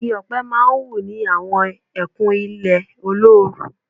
Igi ọ̀pẹ má ń wù ní àwọn ẹkùn ilẹ̀ olóoru